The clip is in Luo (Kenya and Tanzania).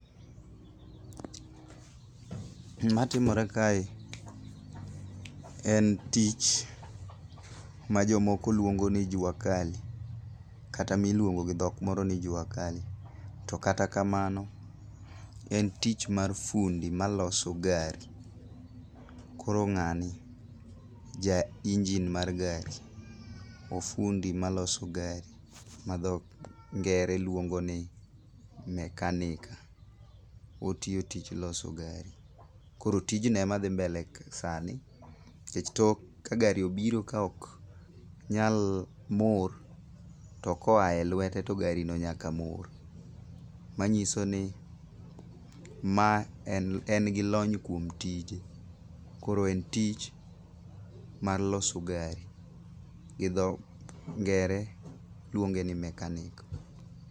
Matimore kae en tich majomoko luongo ni jua kali kata miluongo gi dhok moro ni jua kali. To kata kamano, en tich mar fundi maloso gari. Koro ng'ani ja engine mar gari. Ofundi maloso gari ma dho ngere luongo ni mechanic. Otiyo tich loso gari. Koro tijno e ma dhi mbele sani. Nikech tok ka gari obiro ka ok nyal mor to koa e lwete to gari no nyaka mor. Manyiso ni ma en gi lony kuom tije. Koro en tich mar loso gari gi dho ngere luonge ni mechanic.